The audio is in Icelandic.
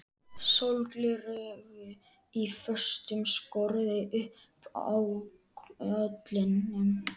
Sólgleraugu í föstum skorðum uppi á kollinum.